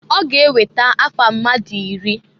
Ọga eweta afa mmadụ iri.